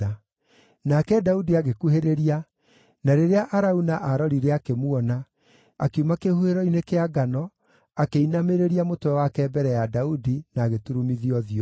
Nake Daudi agĩkuhĩrĩria, na rĩrĩa Arauna aarorire akĩmuona, akiuma kĩhuhĩro-inĩ kĩa ngano, akĩinamĩrĩria mũtwe wake mbere ya Daudi, na agĩturumithia ũthiũ thĩ.